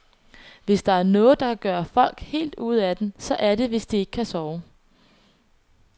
Hvis der er noget, der kan gøre folk helt ude af den, så er det, hvis de ikke kan sove.